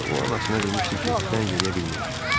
amma o anasına demişdi ki, zəng eləyə bilməyəcəm.